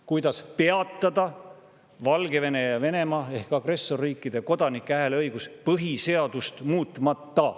–, kuidas peatada Valgevene ja Venemaa ehk agressorriikide kodanike hääleõigus põhiseadust muutmata.